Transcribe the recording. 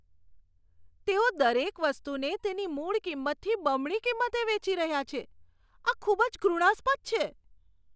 તેઓ દરેક વસ્તુને તેની મૂળ કિંમતથી બમણી કિંમતે વેચી રહ્યા છે. આ ખૂબ જ ઘૃણાસ્પદ છે.